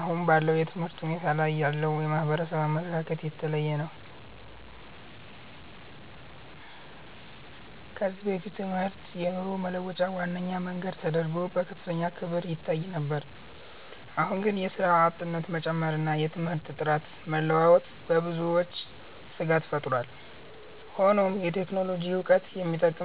አሁን ባለው የትምህርት ሁኔታ ላይ ያለው የማህበረሰብ አመለካከት የተለያየ ነው። ከዚህ በፊት ትምህርት የኑሮ መለወጫ ዋነኛ መንገድ ተደርጎ በከፍተኛ ክብር ይታይ ነበር። አሁን ግን የሥራ አጥነት መጨመርና የትምህርት ጥራት መለዋወጥ በብዙዎች ስጋት ፈጥሯል። ሆኖም የቴክኖሎጂ ዕውቀት የሚጠይቁ